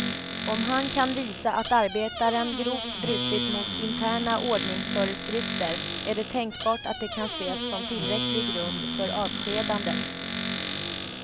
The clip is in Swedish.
Om han kan visa att arbetaren grovt brutit mot interna ordningsföreskrifter är det tänkbart att det kan ses som tillräcklig grund för avskedandet.